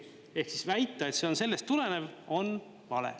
Ehk siis väita, et see on sellest tulenev, on vale.